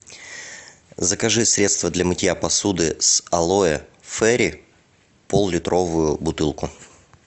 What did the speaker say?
закажи средство для мытья посуды с алоэ фейри поллитровую бутылку